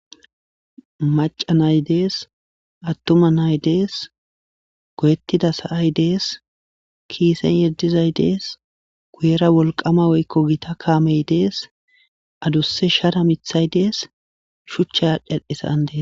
maca nay dees attuma nay dees goyettida sa7ay dees kiisen yeddizay dees guyera wolqama woykko gita kaamey dees adusse shada mithay dees shuchcha adheisaandee